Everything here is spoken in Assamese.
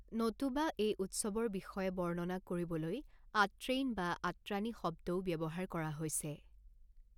নতুবা, এই উৎসৱৰ বিষয়ে বৰ্ণনা কৰিবলৈ 'আট্ৰেইন' বা 'আত্ৰানী' শব্দও ব্যৱহাৰ কৰা হৈছে।